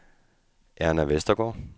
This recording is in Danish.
Erna Westergaard